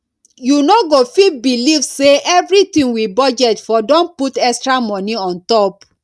you no go fit believe say everything we budget for don put extra money on top